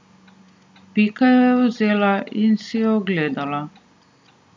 Pika jo je vzela in si jo ogledala.